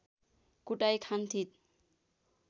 कुटाई खान्थिन्